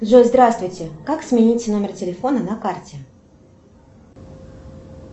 джой здравствуйте как сменить номер телефона на карте